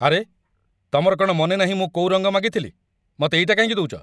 ଆରେ, ତମର କ'ଣ ମନେ ନାହିଁ ମୁଁ କୋଉ ରଙ୍ଗ ମାଗିଥିଲି? ମତେ ଏଇଟା କାହିଁକି ଦଉଚ?